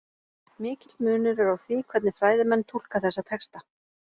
Mikill munur er á því hvernig fræðimenn túlka þessa texta.